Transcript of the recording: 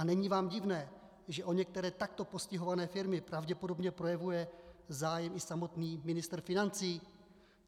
A není vám divné, že o některé takto postihované firmy pravděpodobně projevuje zájem i samotný ministr financí?